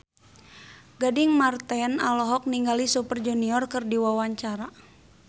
Gading Marten olohok ningali Super Junior keur diwawancara